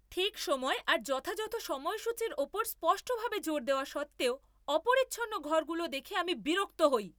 ঠিক সময় আর যথাযথ সময়সূচীর উপর স্পষ্টভাবে জোর দেওয়া সত্ত্বেও অপরিচ্ছন্ন ঘরগুলো দেখে আমি বিরক্ত হই!